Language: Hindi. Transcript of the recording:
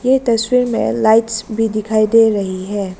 ये तस्वीर मे लाइट्स भी दिखाई दे रही है।